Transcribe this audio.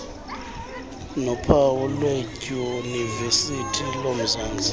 nophawu lwedyunivesithi yomzantsi